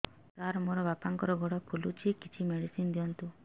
ସାର ମୋର ବାପାଙ୍କର ଗୋଡ ଫୁଲୁଛି କିଛି ମେଡିସିନ ଦିଅନ୍ତୁ